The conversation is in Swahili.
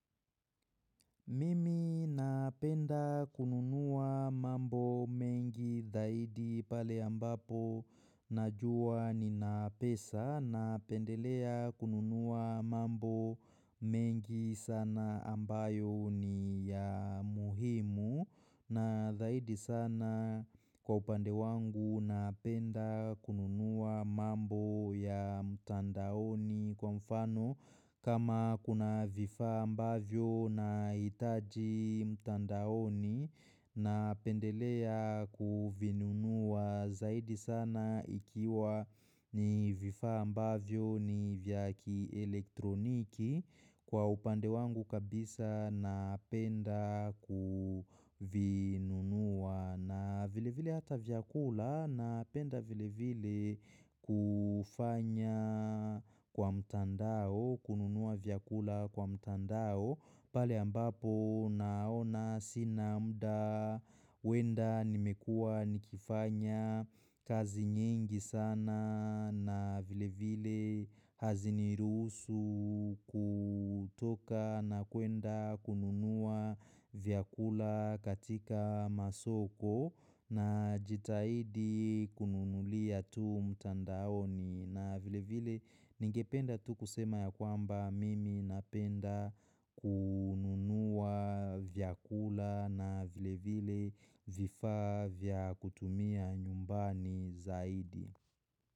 Mimi napenda kununua mambo mengi zaidi pale ambapo na juwa ni na pesa na pendelea kununua mambo mengi sana ambayo ni ya muhimu na zaidi sana kwa upande wangu napenda kununua mambo ya mtandaoni kwa mfano kama kuna vifaa ambavyo nahitaji mtandaoni na pendelea kuvinunua zaidi sana ikiwa ni vifaa ambavyo ni vya kielektroniki Kwa upande wangu kabisa napenda kuvinunua na vile vile hata vyakula napenda vile vile kufanya kwa mtandao, kununua vyakula kwa mtandao. Pahali ambapo naona sina muda kwenda nimekua nikifanya kazi nyingi sana na vile vile haziniruhusu kutoka na kuenda kununua vyakula katika masoko na jitahidi kununulia tu mtandaoni. Na vile vile ningependa tu kusema ya kwamba mimi napenda kununua vyakula na vile vile vifaa vya kutumia nyumbani zaidi.